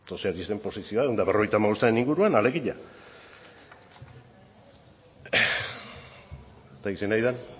sozialisten posizioa ehun eta berrogeita hamabostan inguruan alegia ez dakit zein ari den